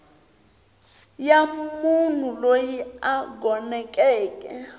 ya munhu loyi a gonekeke